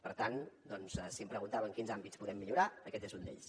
per tant doncs si em preguntava en quins àmbits podem millorar aquest és un d’ells